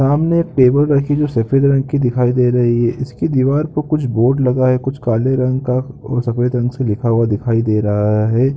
सामने एक टेबल रखी जो सफेद रंग की दिखाई दे रही है इसकी दिवार पे कुछ बोर्ड लगा है कुछ काले रंग का और सफ़ेद रंग से लिखा हुआ दिखाई दे रहा है।